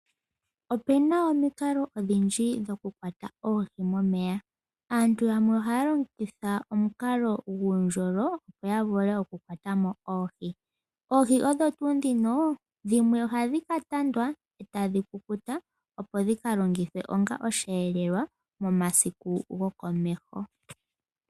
Opena omikalo odhindji dhokukwata oohi momeya. aantu yamwe ohaya longitha omukalo guundjolo opo yavule oku kwatamo oohi, oohi odho tuu ndhino dhimwe ohadhi katandwa etadhi kukuta opo dhikalongithwe onga osheelelwa momasiku gokomeho